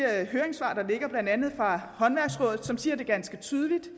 høringssvar der ligger blandt andet fra håndværksrådet som siger det ganske tydeligt